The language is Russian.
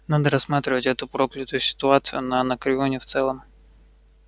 надо рассматривать эту проклятую ситуацию на анакреоне в целом